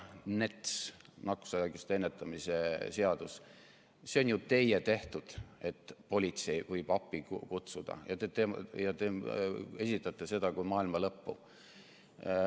NETS ehk nakkushaiguste ennetamise ja tõrje seadus – see on ju teie tehtud, et politsei võib appi kutsuda, aga nüüd esitate seda kui maailma lõppu.